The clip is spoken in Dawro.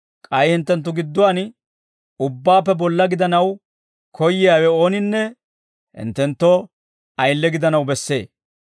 K'ay hinttenttu gidduwaan ubbaappe bolla gidanaw koyyiyaawe ooninne hinttenttoo ayile gidanaw bessee.